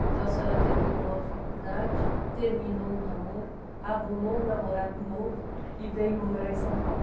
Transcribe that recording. Então a senhora terminou a faculdade, terminou o namoro, arrumou um namorado novo e veio morar em São Paulo?